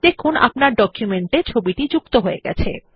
দেখুন আপনার ডকুমেন্ট এ ছবিটি যুক্ত হয়ে গেছে